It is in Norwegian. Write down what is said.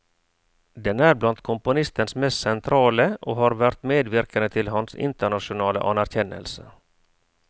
Den er blant komponistens mest sentrale, og har vært medvirkende til hans internasjonale anerkjennelse.